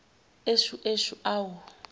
eshu eshu awu